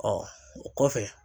Ɔ o kɔfɛ